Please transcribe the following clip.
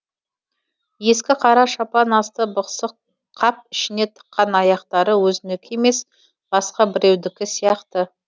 ескі қара шапан асты бықсық қап ішіне тыққан аяқтары өзінікі емес басқа біреудікі сияқты